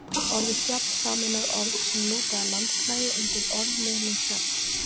Orðið fjall sameinar orð sem lúta að landslagi undir orðliðnum fjalls-